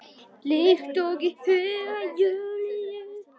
Líkt og í huga Júlíu.